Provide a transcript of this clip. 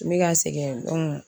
N bɛ ka segin